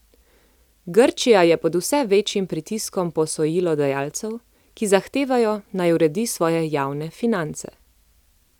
Grčija je pod vse večjim pritiskom posojilodajalcev, ki zahtevajo, naj uredi svoje javne finance.